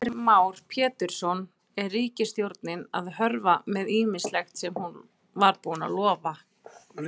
Heimir Már Pétursson: Er ríkisstjórnin að hörfa með ýmislegt sem hún var búin að lofa?